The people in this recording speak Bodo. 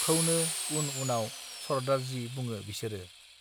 खौनो उन उनाव सरदारजी बुङो बिसोरो